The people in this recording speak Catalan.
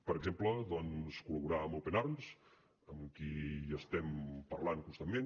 per exemple doncs col·laborar amb open arms amb qui hi estem parlant constantment